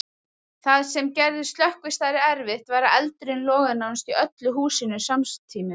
Það sem gerði slökkvistarfið erfitt var að eldurinn logaði nánast í öllu húsinu samtímis.